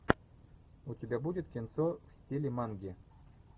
у тебя будет кинцо в стиле манги